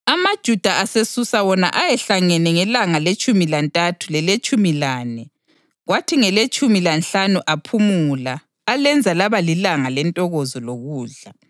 AmaJuda aseSusa wona ayehlangene ngelanga letshumi lantathu leletshumi lane, kwathi ngeletshumi lanhlanu aphumula alenza laba lilanga lentokozo lokudla.